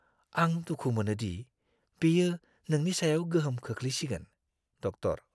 आं दुखु मोनो दि बेयो नोंनि सायाव गोहोम गोग्लैसिगोन। (डक्टर)